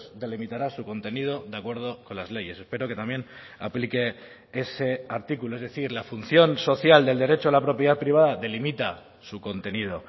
delimitará su contenido de acuerdo con las leyes espero que también aplique ese artículo es decir la función social del derecho a la propiedad privada delimita su contenido